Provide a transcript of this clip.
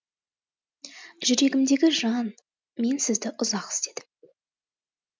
жүрегімдегі жан мен сізді ұзақ іздедім